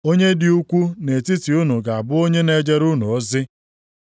Onye dị ukwuu nʼetiti unu ga-abụ onye na-ejere unu ozi.